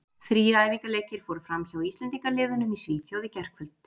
Þrír æfingaleikir fóru fram hjá Íslendingaliðunum í Svíþjóð í gærkvöld.